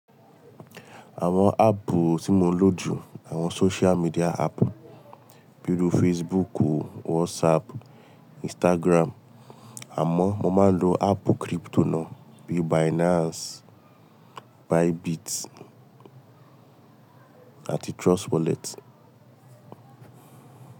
Àwon aapu tí mo ń lò ju àwon social media app bí irú Facebook, WhatsApp, Instagram, àmó mo máa ń lo app crypto náà bíi Binance, Bybit àti Trust wallet.